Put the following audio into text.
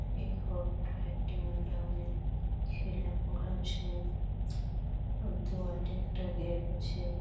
এই ঘরটায় একটি ম্যাডাম -এর ছেলে পড়হাছে দুয়ারে একটা গেট আছে।